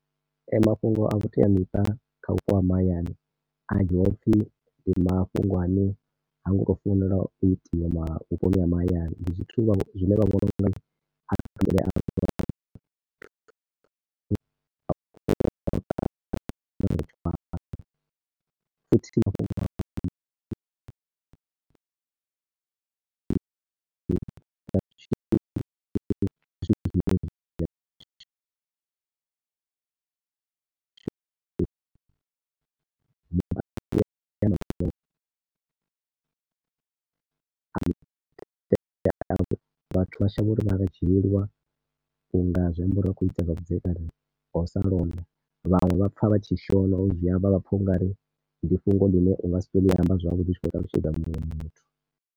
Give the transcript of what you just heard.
Ee, mafhungo a vhuteamiṱa kha vhupo ha mahayani a dzhiiwa u pfhi ndi mafhungo ane ha ngo fanela u itiwa vhuponi ha mahayani. Ndi zwithu zwine . Vhathu vha shavha u ri arali vha tshi vhoniwa, u nga zwi amba uri vha khou ita zwa vhudzekani nga u sa londa. Vhaṅwe vha pfha vha tshi shona u dzhia vha pfha u nga ri ndi fhungo ḽine u nga si tou ḽi amba zwavhuḓi u tshi khou ṱalutshedza muṅwe muthu.